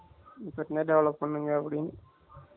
இப்போதுத்துலா இருந்தே develop பண்ணுங்க அப்படின்னு